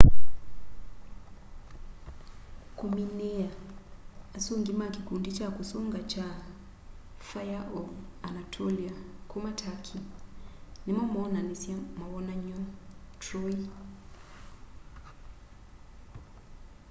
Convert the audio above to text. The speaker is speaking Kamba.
kũmĩnĩĩa asũngĩ ma kikundi kya kusunga kya fĩre of anatolĩa kuma turkey nĩmo moonanĩsya mawonanyo troy